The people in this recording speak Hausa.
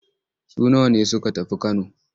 Su nawa ne suka tafi Kano?